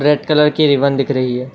Red colour की ribbon दिख रही है।